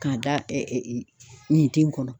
K'a da nin den kɔnɔ